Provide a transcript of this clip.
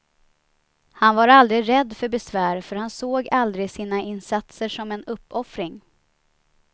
Han var aldrig rädd för besvär för han såg aldrig sina insatser som en uppoffring.